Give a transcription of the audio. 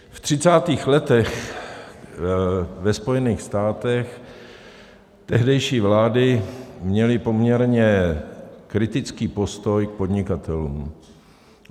V třicátých letech ve Spojených státech tehdejší vlády měly poměrně kritický postoj k podnikatelům.